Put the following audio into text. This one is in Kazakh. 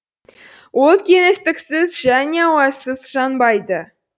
от кеңістіксіз және ауасыз жанбайды